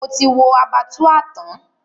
Mo ti wo Abattoir tán.